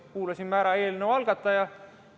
Kuulasime ära eelnõu algataja.